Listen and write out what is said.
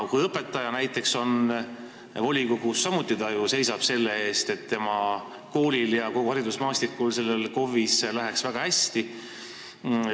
Kui õpetaja näiteks on volikogus, siis ta samuti ju seisab selle eest, et tema koolil ja kogu haridusmaastikul selles omavalitsuses läheks väga hästi.